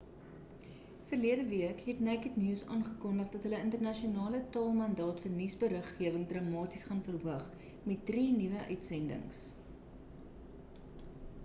verlede week het naked news aangekondig dat hulle die internasionale tale mandaat vir nuusberiggewing dramaties gaan verhoog met drie nuwe uitsendings